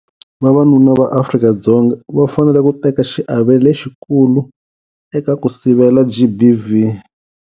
Vavanuna va Afrika-Dzonga va fanele ku teka xiave lexikulu eka ku sivela GBV.